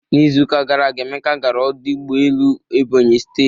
N'Izuụka gara aga,, Emeka gara ọdụ ụgbọelu Ebony steeti.